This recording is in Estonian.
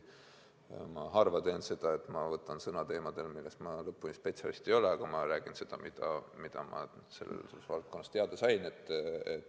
Ma võtan harva sõna teemadel, milles ma lõpuni spetsialist ei ole, aga ma räägin seda, mida ma selle valdkonna kohta teada sain.